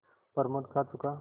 प्रमोद खा चुका